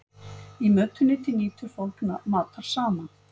í mötuneyti nýtur fólk matar saman